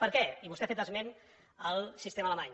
per què i vostè ha fet esment del sistema alemany